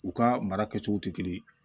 U ka mara kɛcogo tɛ kelen ye